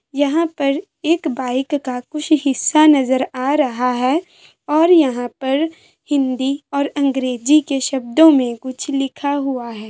यहाँ पर एक बाइक का कुछ हिस्सा नजर आ रहा है और यहाँ पर हिन्दी और अंग्रेजी के शब्दों में लिखा हुआ है।